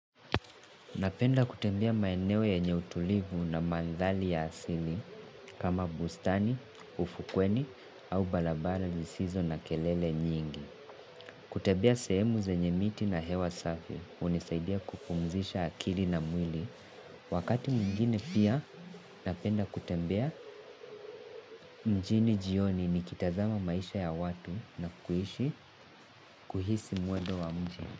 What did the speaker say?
Napenda kutembea maeneo yenye utulivu na mandhari ya asili kama bustani, ufukweni au barabara zisizo na kelele nyingi. Kutembea sehemu zenye miti na hewa safi hunisaidia kupumzisha akili na mwili. Wakati mwingine pia napenda kutembea mjini jioni nikitazama maisha ya watu na kuhishi kuhisi mwendo wa mji.